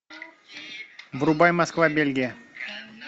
врубай москва бельгия